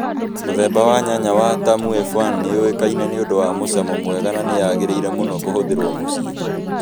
Mũthemba wa nyanya wa Tamu F1 nĩ yũĩkaine nĩundũ wa mũcamo mũega na nĩ yagĩrĩire mũno kũhũthĩrũo mũciĩ